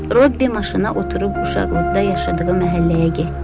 Robbi maşına oturub uşaqlıqda yaşadığı məhəlləyə getdi.